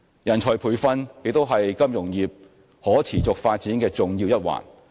人才培訓亦是金融業可持續發展的重要一環。